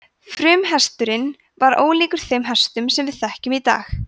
frumhesturinn var ólíkur þeim hestum sem við þekkjum í dag